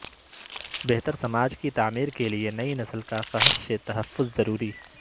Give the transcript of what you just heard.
بہتر سماج کی تعمیرکے لیے نئی نسل کا فحش سے تحفظ ضروری